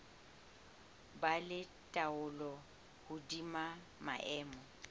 ba le taolo hodima maemo